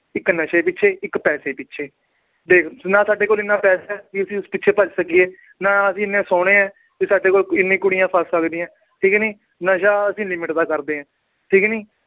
ਇੱਕ ਨਸ਼ੇ ਪਿੋੱਛੇ ਇੱਕ ਪੈਸੇ ਪਿੱਛੇ ਦੇਖ ਨਾ ਸਾਡੇ ਕੋਲ ਇੰਨਾ ਪੈਸਾ ਹੈ ਵੀ ਅਸੀਂ ਉਸ ਪਿੱਛੇ ਭੱਜ ਸਕੀਏ ਨਾ ਅਸੀਂ ਇੰਨੇ ਸੋਹਣੇ ਹੈ ਵੀ ਸਾਡੇ ਕੋਲ ਇੰਨੀ ਕੁੜੀਆਂ ਫਸ ਸਕਦੀਆਂ, ਠੀਕ ਨੀ ਨਸ਼ਾ ਅਸੀਂ limit ਦਾ ਕਰਦੇ ਹਾਂ ਠੀਕ ਨੀ